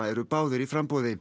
eru báðir í framboði